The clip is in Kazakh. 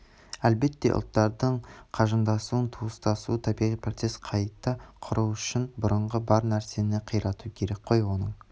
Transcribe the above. әлбетте ұлттардың жақындасуы туыстасуы табиғи процесс қайта құру үшн бұрынғы бар нәрсені қирату керек қой оның